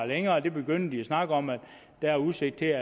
længere og de begyndte at snakke om at der er udsigt til